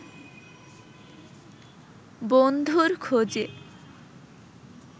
বন্ধুর খোঁজে